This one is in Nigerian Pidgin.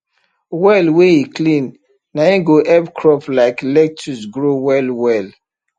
well wey e clean nai go help crop like lettuce grow well well